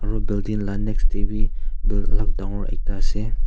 Aro building la next tey bi buil alak dangor ekta ase.